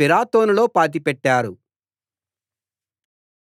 పిరాతోనులో పాతిపెట్టారు